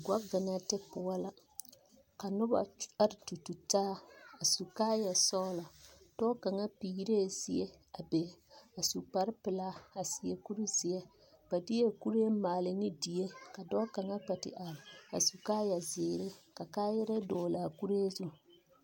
Gͻvenԑnte poͻ la, ka noba are tututaa a su kaaya sͻgelͻ, dͻͻ kaŋa peerԑԑ zie a be, a su kpare pelaa a seԑ kuri zeԑ. Ba deԑ kuree maale ne die, ka dͻͻ kaŋa kpԑ te are a du kaaya zeere, ka kaayerԑԑ dԑgele a kuree zu.